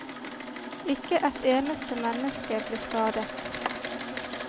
Ikke et eneste menneske ble skadet.